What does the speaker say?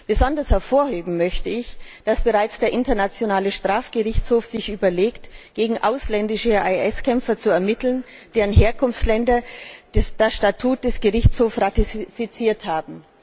Besonders hervorheben möchte ich, dass sich der internationale Strafgerichtshof bereits überlegt, gegen ausländische IS Kämpfer zu ermitteln, deren Herkunftsländer das Statut des Gerichtshofs ratifiziert haben.